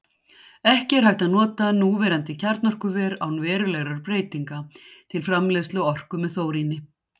Ekki er hægt að nota núverandi kjarnorkuver, án verulegra breytinga, til framleiðslu orku með þóríni.